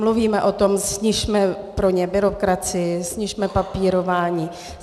Mluvíme o tom, snižme pro ně byrokracii, snižme papírování.